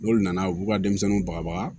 N'olu nana u b'u ka denmisɛnninw bagabaga